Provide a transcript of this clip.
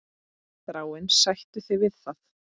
Þráinn, sættu þig við það!